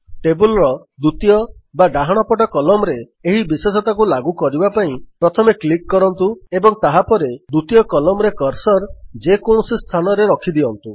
table ର ଦ୍ୱିତୀୟ ବା ଡାହାଣ ପଟ Columnରେ ଏହି ବିଶେଷତାକୁ ଲାଗୁ କରିବା ପାଇଁ ପ୍ରଥମେ କ୍ଲିକ୍ କରନ୍ତୁ ଏବଂ ତାହାପରେ ଦ୍ୱିତୀୟ Columnରେ କର୍ସର୍ ଯେକୌଣସି ସ୍ଥାନରେ ରଖିଦିଅନ୍ତୁ